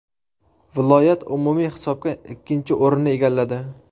Viloyat umumiy hisobda ikkinchi o‘rinni egalladi.